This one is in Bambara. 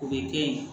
O bɛ kɛ yen